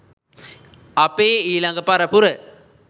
අපේ ඊළඟ පරපුර